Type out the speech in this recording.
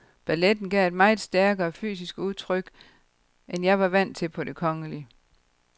Balletten gav et meget stærkere fysisk udtryk, end jeg var vant til på det kongelige.